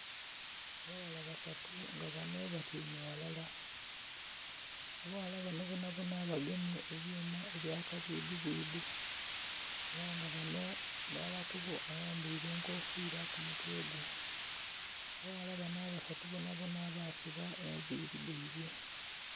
Abaghala basatu nga bano batyaime ghalala, abaghala bano bonabona bagemye ebyuma ebya kabwidhi bwidhi era nga bano mulala kubo ayambaire enkofira kumutwe gwe. Abaghala bano abasatu bonabona basiba enviiri dhaibwe.